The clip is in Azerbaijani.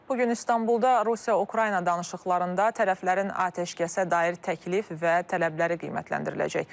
Bu gün İstanbulda Rusiya-Ukrayna danışıqlarında tərəflərin atəşkəsə dair təklif və tələbləri qiymətləndiriləcək.